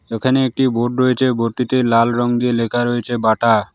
এখানে একটি বোর্ড রয়েছে বোর্ড -টিতে লাল রং দিয়ে লেখা রয়েছে বাটা ।